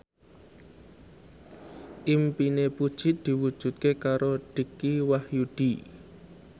impine Puji diwujudke karo Dicky Wahyudi